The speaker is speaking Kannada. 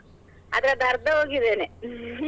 ಅದ್ರದ್ದ್ ಅರ್ದ ಹೋಗಿದ್ದೇನೆ .